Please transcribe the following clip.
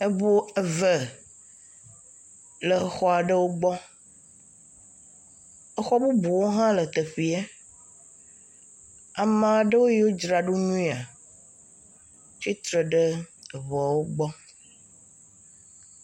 eʋu eve le xɔaɖewo gbɔ exɔ bubuwo hã le teƒea amaɖewo yó dzraɖo nyuia tsitre ɖe eʋuawo gbɔ